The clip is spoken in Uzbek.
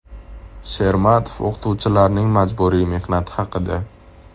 Shermatov o‘qituvchilarning majburiy mehnati haqida.